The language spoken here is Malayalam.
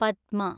പദ്മ